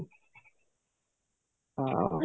ହଁ